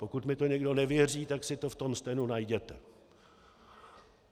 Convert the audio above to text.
Pokud mi to někdo nevěří, tak si to v tom stenu najděte.